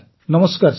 ନମସ୍କାର ସାର